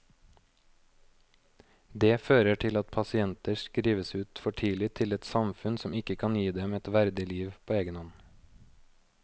Det fører til at pasienter skrives ut for tidlig til et samfunn som ikke kan gi dem et verdig liv på egen hånd.